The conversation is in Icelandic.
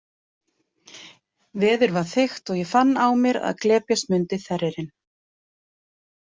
Veður var þykkt og ég fann á mér að glepjast myndi þerririnn.